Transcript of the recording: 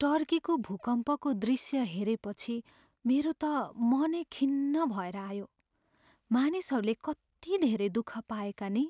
टर्कीको भूकम्पको दृश्य हेरेपछि मेरो त मनै खिन्न भएर आयो। मानिसहरूले कति धेरै दुःख पाएका नि!